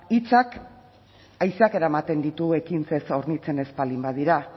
hitzak haizeak eramaten ditu ekintzez hornitzen ez baldin badira